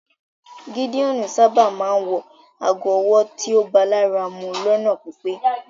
Gídeon sábà máa ńwọ àágó ọ̀wọ́ tíó bá làra mú lọ́nà pípé